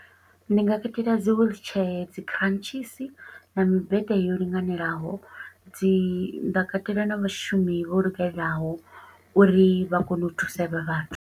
Ndi nga katela dzi wheelchair, dzi kharantshisi, na mmbete yo linganelaho. Dzi, nda katela na vhashumi vho lugelaho, uri vha kone u thusa havha vhathu.